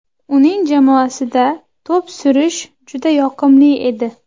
Uning jamoasida to‘p surish juda yoqimli edi.